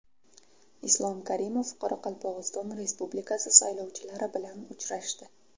Islom Karimov Qoraqalpog‘iston Respublikasi saylovchilari bilan uchrashdi.